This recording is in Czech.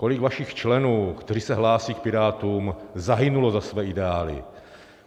Kolik vašich členů, kteří se hlásí k Pirátům, zahynulo za své ideály?